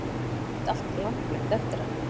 Og nú er rúmið mitt allt hlandblautt eftir hann.